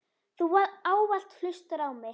Þú ávallt hlustar á mig.